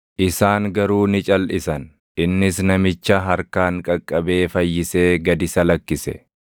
Isaan garuu ni calʼisan; innis namicha harkaan qaqqabee fayyisee gad isa lakkise.